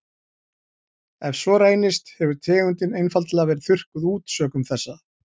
Ef svo reynist hefur tegundin einfaldlega verið þurrkað út sökum þessa.